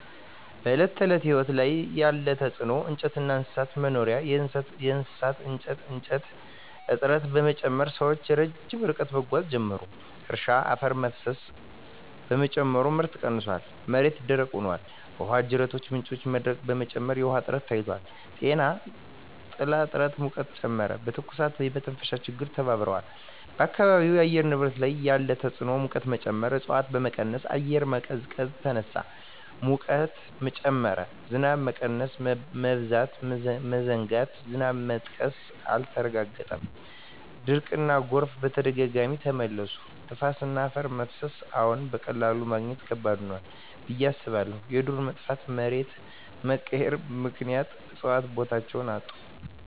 በዕለት ተዕለት ሕይወት ላይ ያለ ተጽዕኖ እንጨትና እንስሳት መኖሪያ የእሳት እንጨት እጥረት በመጨመር ሰዎች ርቀት ረዥም መጓዝ ጀመሩ። እርሻ አፈር መፍሰስ በመጨመር ምርት ቀንሷል፣ መሬት ደረቅ ሆኗል። ውሃ ጅረቶችና ምንጮች መድረቅ በመጨመር የውሃ እጥረት ታይቷል። ጤና ጥላ እጥረት ሙቀትን ጨመረ፣ የትኩሳትና የመተንፈሻ ችግሮች ተባብረዋል። በአካባቢው የአየር ንብረት ላይ ያለ ተጽዕኖ ሙቀት መጨመር እፅዋት በመቀነስ አየር መቀዝቀዝ ተነሳ፣ ሙቀት ጨመረ። ዝናብ መቀነስ/መበዛት መዘናጋት ዝናብ መጥቀስ አልተረጋገጠም፣ ድርቅና ጎርፍ በተደጋጋሚ ተመለሱ። ነፋስና አፈር መፍሰስ አዎን፣ በቀላሉ ማግኘት ከባድ ሆኗል ብዬ አስባለሁ። የዱር መጥፋትና መሬት መቀየር ምክንያት እፅዋት ቦታቸውን አጡ።